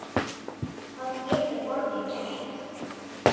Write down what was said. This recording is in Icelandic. Hvað getur borgin gert?